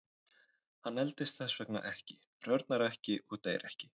Hann eldist þess vegna ekki, hrörnar ekki og deyr ekki.